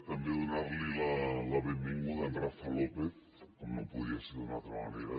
també donar la benvinguda a en rafa lópez com no podria ser d’una altra manera